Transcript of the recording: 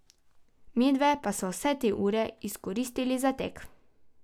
Midve pa sva vse te ure izkoristili za tek.